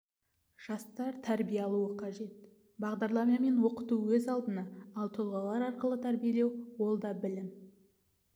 жастар тәрбие алуы қажет бағдарламамен оқыту өз алдына ал тұлғалар арқылы тәрбиелеу ол да білім